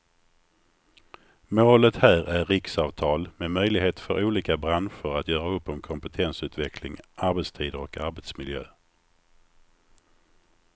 Målet här är riksavtal med möjlighet för olika branscher att göra upp om kompetensutveckling, arbetstider och arbetsmiljö.